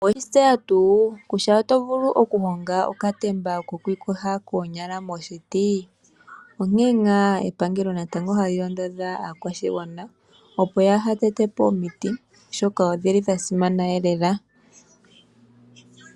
Owatseya tuu kutya oto vulu okuhonga okatemba koku ikosha koonyala moshiti, onke nga epangelo hali londodha aakwashigwana opo ya ha tetepo omiti oshoka odhili dha simana lela.